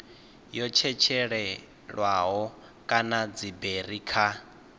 yo tshetshelelwaho kana dziberi kha